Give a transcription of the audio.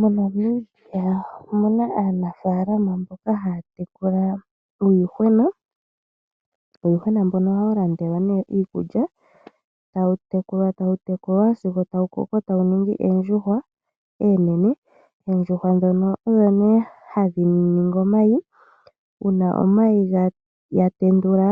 MoNamibia omu na aanafaalama mboka haa tekula uuyuhwena. Uuyuhwena mbono ohawu landelwa nduno iikulya. Tawu tekulwa, e tawu koko sigo wa ningi oondjuhwa oonene. Oondjuhwa ndhono odho nduno hadhi vala omayi. Uuna omayi ga tendulwa,